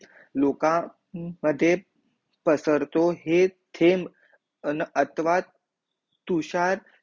लोकांमद्धे पसरतो हे थेम्ब अथवा तुषार